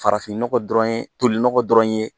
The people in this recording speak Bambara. Farafin nɔgɔ dɔrɔn ye tolinɔgɔ dɔrɔn ye